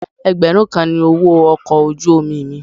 Ẹgbẹ̀rún kan ni owó ọkọ̀ ojú omi mi.